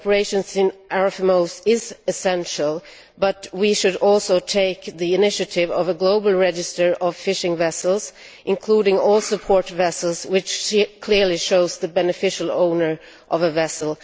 Cooperation between RFMOs is essential, but we should also take the initiative of drawing up a global register of fishing vessels, including all support vessels, which clearly shows the beneficial owner of a vessel.